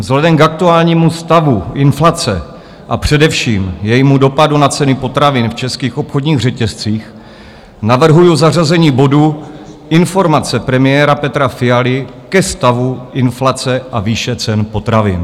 Vzhledem k aktuálnímu stavu inflace, a především jejímu dopadu na ceny potravin v českých obchodních řetězcích navrhuju zařazení bodu Informace premiéra Petra Fialy ke stavu inflace a výše cen potravin.